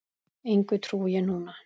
Engu trúi ég núna.